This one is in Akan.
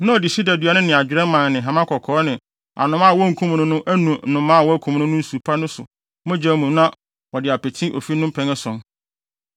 na ɔde sida dua no ne adwerɛ mman ne hama kɔkɔɔ ne anomaa a wonkum no no anu anomaa a wɔakum no nsu pa no so no mogya mu na wɔde apete ofi no mpɛn ason.